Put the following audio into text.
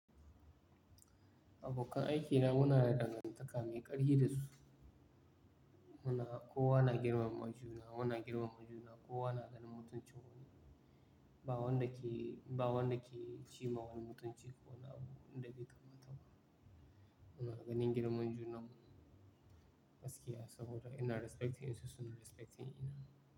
Abokan aikina muna da dangantaka mai ƙarfi da su. Muna-- kowa na girmama juna, muna girmama juna, kowa na ganin mutuncin wani. Ba wanda ke, ba wanda ke ci ma wani mutunci ko wani abu wanda bai kamata. Muna ganin girman junan mu gaskiya saboda ina respecting su, su na respecting ina.